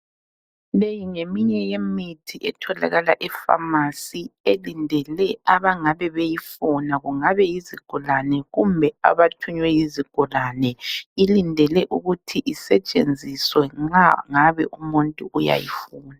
Leyi ngeminye yemithi etholakala epharmacy. Elindele abangabe beyifuna, kungabe yizigulane kumbe abathunywe yizigulane. Ilindele ukuthi isetshenziswe nxa ngabe umuntu uyayifuna.